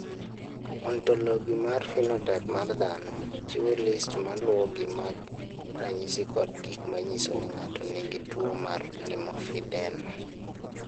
"Ontologi mar phenotaip mar dhano chiwo list ma luwogi mag ranyisi kod gik ma nyiso ni ng’ato nigi tuwo mar limfedema."